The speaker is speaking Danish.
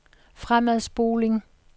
fremadspoling